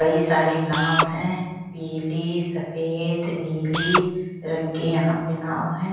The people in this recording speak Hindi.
कई सारे नाव है पीली सफेद नीली रंग के यहां पे नाव है।